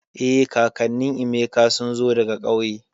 Eh, kakannin Emeka sun zo daga kauye